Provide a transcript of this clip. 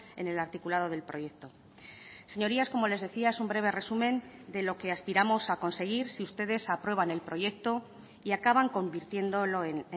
en el articulado del proyecto señorías como les decía es un breve resumen de lo que aspiramos a conseguir si ustedes aprueban el proyecto y acaban convirtiéndolo en